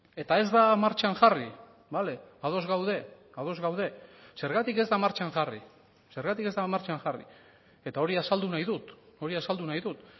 eta ez da martxan jarri bale ados gaude ados gaude zergatik ez da martxan jarri zergatik ez da martxan jarri eta hori azaldu nahi dut hori azaldu nahi dut